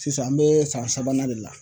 Sisan an bɛ san sabanan de la.